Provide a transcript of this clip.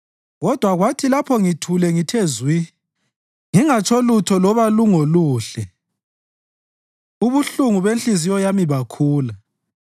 Kodwa kwathi lapho ngithule ngithe zwi, ngingatsho lutho loba lungoluhle ubuhlungu benhliziyo yami bakhula.